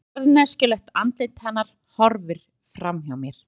En harðneskjulegt andlit hennar horfir fram hjá mér.